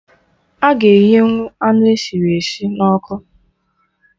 Aga eghenwụ anụ esiri esi na ọkụ